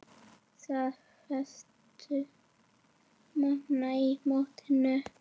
Staða efstu manna í mótinu